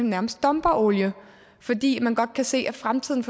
nærmest dumper olie fordi man godt kan se at fremtiden